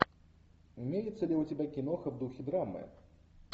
имеется ли у тебя киноха в духе драмы